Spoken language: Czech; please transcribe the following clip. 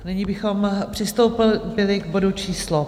Nyní bychom přistoupili k bodu číslo